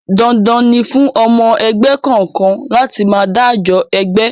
Dandan ni fún ọmọ ẹgbẹ́ kọ̀ọ̀kan láti máa dájọ ẹgbẹ́!